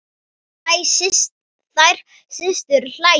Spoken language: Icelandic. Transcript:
Þær systur hlæja.